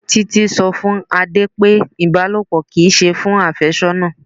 Títí sọ fún Adé pé Ibalopo kì í ṣe fún afésónà.